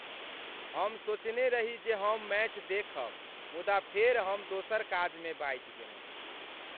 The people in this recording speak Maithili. हम सोचने रही जे हम मैच देखब मुदा फेर हम दोसर काजमे बाझि गेलहुँ।